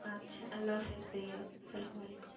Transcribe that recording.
আচ্ছা আল্লাহ হাফিজ ভাইয়া সালামালাইকুম